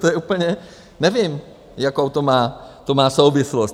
To je úplně - nevím, jakou to má souvislost.